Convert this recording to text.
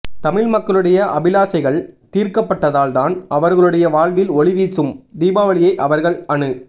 தமிழ் மக்களுடைய அபிலாஷைகள் தீர்க்கப்பட்டதால்தான் அவர்களுடைய வாழ்வில் ஒளிவீசும் தீபாவளியை அவர்கள் அனு